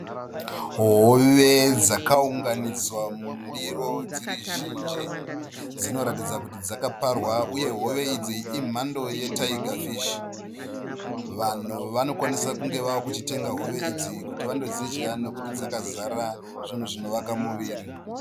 Hove dzakaunganidzwa mundiro dziri zhinji. Dzinoratidza kuti dzakaparwa uye hove idzi imhando ye taiga fishi. Vanhu vanokwanisa kunge vakuchitenga hove idzi kuti vandodzidya nokuti dzakazara zvinovaka muviri.